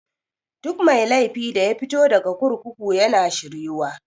Duk mai laifi daya fito daga kurkuku yana shir yuwa.